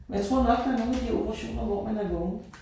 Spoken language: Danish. Og jeg tror nok når nogle af de operationer hvor man er vågen